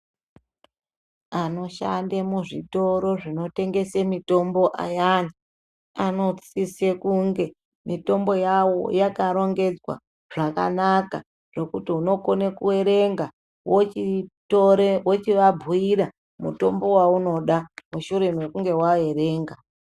Anoshande muzvitoro zvinotengese mitombo ayani , anosise kunge mitombo yawo yakarongedzwa zvakanaka ,zvekuti unokone kuerenga wochitore wochivabhuira mutombo waunoda, mushure mekunge waerenga.